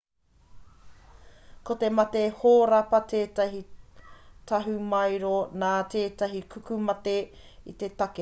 ko te mate hōrapa tētahi tahumaero nā tētahi tukumate te take pēnei i te huaketo i te ngārara i te hekaheka i ētahi atu pirinoa rānei